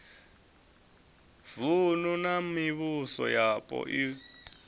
vunu na mivhuso yapo u